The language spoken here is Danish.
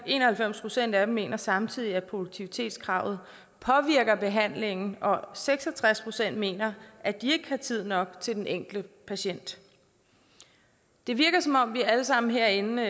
en og halvfems procent af dem mener samtidig at produktivitetskravet påvirker behandlingen og seks og tres procent mener at de ikke har tid nok til den enkelte patient det virker som om vi alle sammen herinde